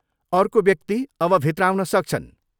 अर्को व्यक्ति अब भित्र आउन सक्छन्!